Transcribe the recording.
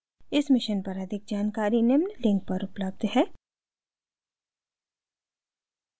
इस mission पर अधिक जानकारी निम्न लिंक पर उपलब्ध है